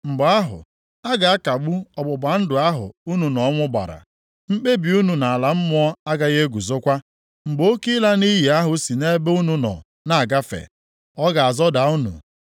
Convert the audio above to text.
Mgbe ahụ, a ga-akagbu ọgbụgba ndụ ahụ unu na ọnwụ gbara; mkpebi unu na ala mmụọ agaghị eguzokwa. Mgbe oke ịla nʼiyi ahụ si nʼebe unu nọ na-agafe, ọ ga-azọda unu.